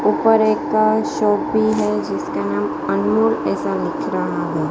ऊपर एक का शॉप भी है जिसका नाम अनमोल ऐसा लिख रहा है।